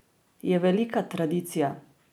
Je velika tradicija.